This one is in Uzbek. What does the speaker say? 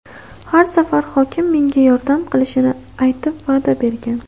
Har safar hokim menga yordam qilishini aytib, va’da bergan.